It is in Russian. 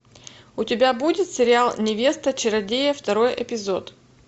у тебя будет сериал невеста чародея второй эпизод